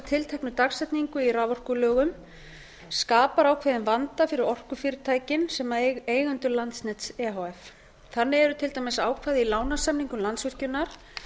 tilteknu dagsetningu í raforkulögum skapar ákveðinn vanda fyrir orkufyrirtækin sem eigendur landsnets e h f þannig eru til dæmis ákvæði í lánasamningum landsvirkjunar